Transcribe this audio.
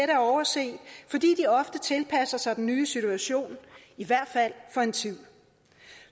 at overse fordi de ofte tilpasser sig den nye situation i hvert fald for en tid